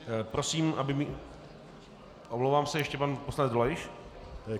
Prosím, aby mi - omlouvám se, ještě pan poslanec Dolejš.